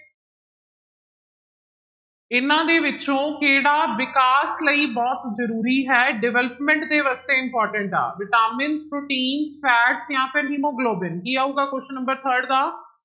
ਇਹਨਾਂ ਦੇ ਵਿੱਚੋਂ ਕਿਹੜਾ ਵਿਕਾਸ ਲਈ ਬਹੁਤ ਜ਼ਰੂਰੀ ਹੈ development ਦੇ ਵਾਸਤੇ important ਆ ਵਿਟਾਮਿਨ, ਪ੍ਰੋਟੀਨ fat ਜਾਂ ਫਿਰ ਹੀਮੋਗਲੋਬਿਨ, ਕੀ ਆਊਗਾ question number third ਦਾ